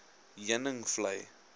heuningvlei